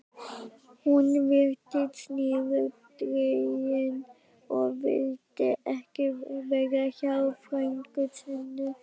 Hún virtist niðurdregin og vildi ekki vera hjá frænku sinni.